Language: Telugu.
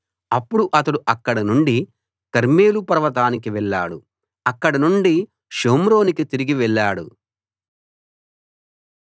అప్పుడు అతడు అక్కడ నుండి కర్మెలు పర్వతానికి వెళ్ళాడు అక్కడనుండి షోమ్రోనుకి తిరిగి వెళ్ళాడు